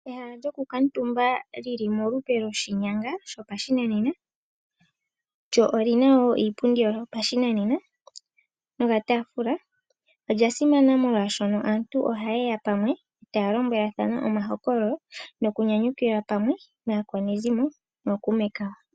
Ehala lyoku kuutumba li li molupe lwoshinyanga shopashinanena, lyo olina wo iipundi yalyo yopashinanena nokataafula, olya simana molwaashono aantu ohaye ya pamwe taya lombwelathana omahokololo noku nyanyukilwa pamwe naakwanezimo nookuume kawo.